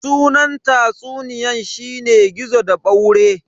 Sunan tatsuniyan shine "Gizo da ɓaure"